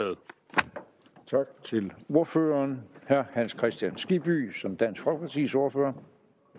tak til ordføreren herre hans kristian skibby som dansk folkepartis ordfører